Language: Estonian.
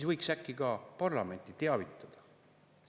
– võiks äkki ka parlamenti teavitada.